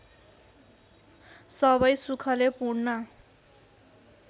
सबै सुखले पूर्ण